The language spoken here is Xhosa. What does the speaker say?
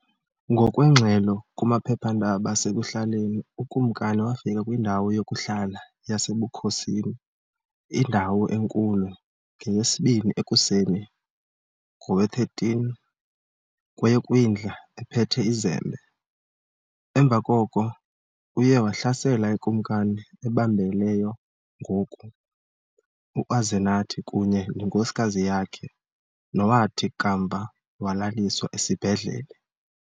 Ngokweengxelo kumaphephandaba asekuhlaleni, ukumkani wafika kwindawo yokuhlala yasebukhosini, iNdawo Enkulu, ngeyesibini ekuseni ngowe13 kweyoKwindla ephethe izembe. Emva koko uye wahlasela iKumkani ebambeleyo ngoku, uAzenathi, kunye nenkosikazi yakhe, nowathi kamva walaliswa esibhedlele.